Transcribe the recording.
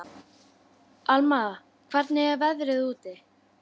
Alma, hvernig er veðrið úti?